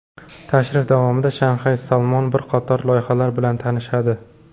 Tashrifi davomida Shayx Salmon bir qator loyihalar bilan tanishadi.